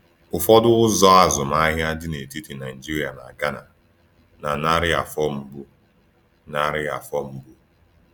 Ụfọdụ ụzọ azụmahịa dị n’etiti Naịjirịa na Ghana na narị afọ mbụ. narị afọ mbụ.